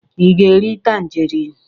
Ị ga-eri tanjerịn?